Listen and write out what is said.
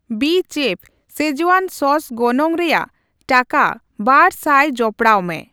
ᱵᱤᱪᱮᱯᱷ ᱥᱮᱡᱣᱟᱱ ᱥᱚᱥ ᱜᱚᱱᱚᱝ ᱨᱮᱭᱟᱜ ᱴᱟᱠᱟ ᱵᱟᱨ ᱥᱟᱭ ᱡᱚᱯᱚᱲᱟᱣᱢᱮ᱾